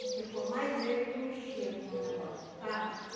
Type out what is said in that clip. Porque foi mais ele que mexia com o negócio, sabe?